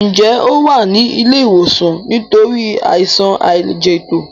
Njé o wá ní ilé ìwòsan nítorí Àìsàn àìlẹjẹtó?